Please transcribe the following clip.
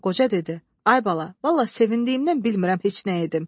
Qoca dedi: Ay bala, vallah sevindiyimdən bilmirəm heç nə edim.